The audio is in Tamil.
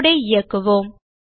கோடு ஐ இயக்குவோம்